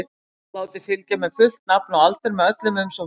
Látið fylgja með fullt nafn og aldur með öllum umsóknum.